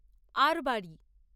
আরবারি